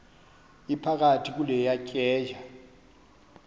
iphakathi kule tyeya